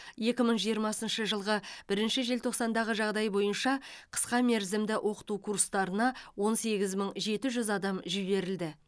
екі мың жиырмасыншы жылғы бірінші желтоқсандағы жағдайы бойынша қысқа мерзімді оқыту курстарына он сегіз мың жеті жүз адам жіберілді